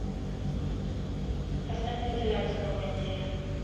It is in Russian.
поставь вентиляцию на кондее